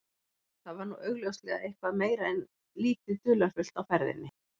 Þar var nú augljóslega eitthvað meira en lítið dularfullt á ferðinni.